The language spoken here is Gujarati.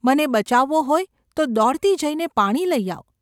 મને બચાવવો હોય તો દોડતી જઈને પાણી લઈ આવ.